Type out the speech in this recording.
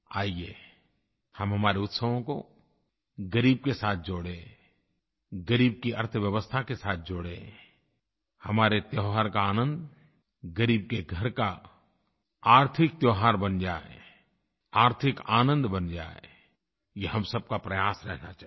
आइए हम हमारे उत्सवों को ग़रीब के साथ जोड़ें ग़रीब की अर्थव्यवस्था के साथ जोड़ें हमारे त्योहार का आनंद ग़रीब के घर का आर्थिक त्योहार बन जाए आर्थिक आनंद बन जाए ये हम सब का प्रयास रहना चाहिए